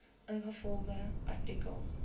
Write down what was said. ingevolge artikel